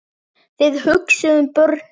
Þið hugsið um börnin.